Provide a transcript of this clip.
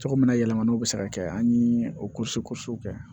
Cogo min na yɛlɛmannw bɛ se ka kɛ an ye o kosi kosiw kɛ